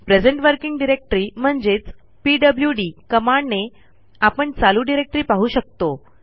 present working directory म्हणजेचpwd कमांडने आपण चालू डिरेक्टरी पाहू शकतो